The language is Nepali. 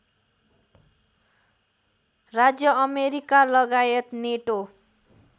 राज्य अमेरिकालगायत नेटो